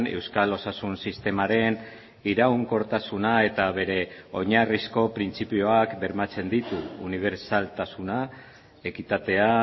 euskal osasun sistemaren iraunkortasuna eta bere oinarrizko printzipioak bermatzen ditu unibertsaltasuna ekitatea